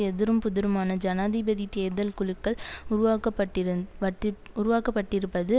எதிரும் புதிருமான ஜனாதிபதி தேர்தல் குழுக்கள் உருவாக்கப்பட்டிருந் பட்டி உருவாக்கப்பட்டிருப்பது